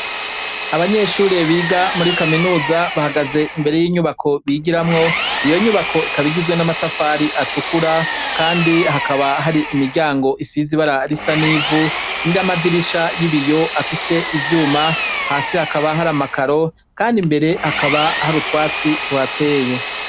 Abanyeshuri biga muri kaminuza bahagaze imbere y'inyubako bigiramwo iyo nyubako ikaba igizwe n'amatafari atukura kandi hakaba hari imiryango isize ibara risa n'ivu n'amadirisha y'ibiyo afise ivyuma hasi hakaba hari amakaro kandi imbere hakaba hari utwatsi tuhateye.